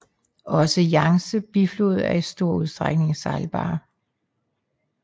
Også Yangtzes bifloder er i stor udstrækning sejlbare